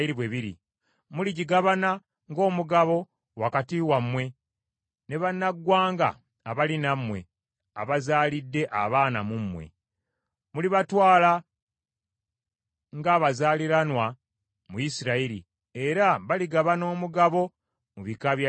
Muligigabana ng’omugabo wakati wammwe ne bannaggwanga abali nammwe, abazaalidde abaana mu mmwe. Mulibatwala ng’abazaaliranwa ba Isirayiri, era baligabana omugabo mu bika bya Isirayiri.